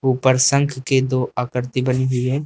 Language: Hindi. ऊपर शंख के दो आकृति बनी हुई है।